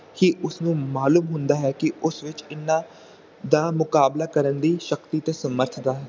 ਕੀ ਉਸਨੂੰ ਮਾਲੂਮ ਹੁੰਦਾ ਹੈ ਕਿ ਉਸ ਵਿਚ ਇਹਨਾਂ ਦਾ ਮੁਕਾਬਲਾ ਕਰਨ ਦੀ ਸ਼ਕਤੀ ਤਾ ਸਮਰਥ ਦਾ